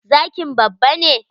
Zkin babba ne?